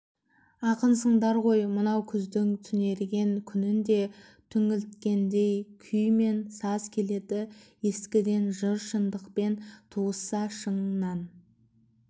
ақынсыңдар ғой мынау күздің түнерген күнінде түңілткендей күй мен саз келеді ескіден жыр шындықпен туысса шыңнан